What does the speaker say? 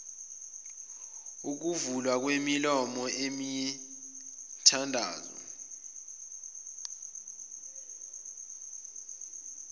yokuvulwa kwemilomo imithandazo